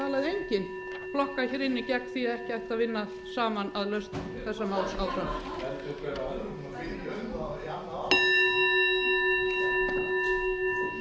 hér inni gegn því að ekki ætti að vinna saman að lausn þessa máls bendir hver á annan